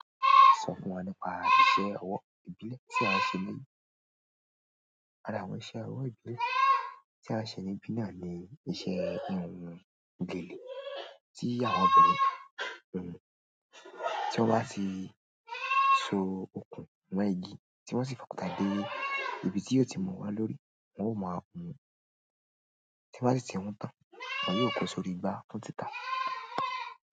Sọ fún wa nípa iṣẹ́ ọwọ́ ìbílẹ̀ tí a ń ṣe léyìí. Ara àwọn iṣẹ́ ọwọ́ ìbílẹ̀ tí a ń ṣe níbí náà ni iṣẹ́ híhun gèlè tí àwọn obìnrin. Tí wọ́n bá ti so okùn mọ́ igi tí wọ́n sì fòkúta dé ibi tí yóò ti mọ wá lórí, wọn ó mọ́ a hun. Tẹ bá sì ti hún tán, ẹ̀yin náà yóò kó sórí igbá fún títa.